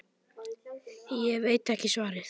Ég veit ekki svarið.